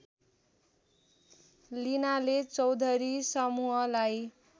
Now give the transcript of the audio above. लिनाले चौधरी समूहलाई